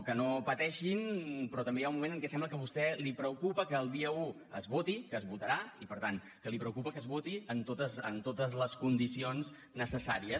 que no pateixin però també hi ha un moment en què sembla que a vostè li preocupa que el dia un es voti que es votarà i per tant que li preocupa que es voti amb totes les condicions necessàries